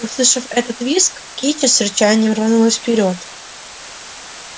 услышав этот визг кичи с рычанием рванулась вперёд